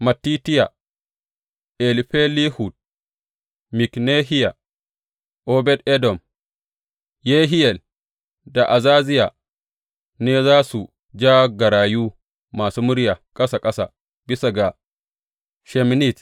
Mattitiya, Elifelehu, Miknehiya, Obed Edom, Yehiyel da Azaziya, ne za su ja garayu masu murya ƙasa ƙasa bisa ga sheminit.